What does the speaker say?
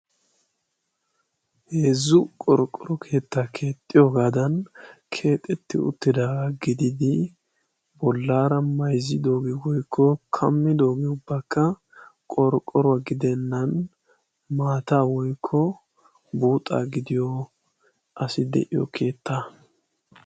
heezzu qorqqoro keettaa keexxiyoogaadan keexetti uttidaagaa gididi bollaara mayzzidooge woykko kammidoogee ubbakka qorqqoruwaa gidennan maata woykko buuxaa gidiyo asi de7iyo keetta.